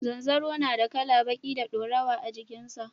Zanzaro na da kala baƙi da dorawa a jikin sa